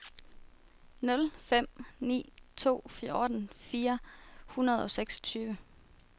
nul fem ni to fjorten fire hundrede og seksogtyve